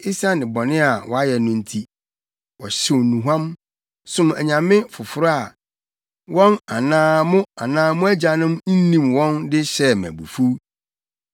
esiane bɔne a wɔayɛ no nti. Wɔhyew nnuhuam, som anyame foforo a, wɔn anaa mo anaa mo agyanom nnim wɔn de hyɛɛ me abufuw.